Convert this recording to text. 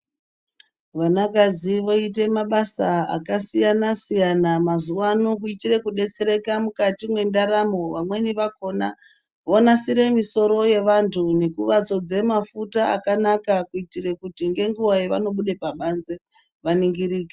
Vana kadzi voite mabasa akasiyana siyana mazuvano kuitire kudetsereka mukati mwendaramo, vamweni vakhona vonasire misoro yevantu nekuvadzodza mafuta akanaka kuitire kuti ngenguva yevanobuda pabanze vaningirike.